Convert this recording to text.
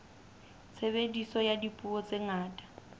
tshebediso ya dipuo tse ngata